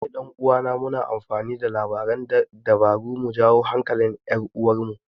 Ni da ɗan uwana muna amfani da labaran dabara mu jawo hankalin 'yar uwarmu.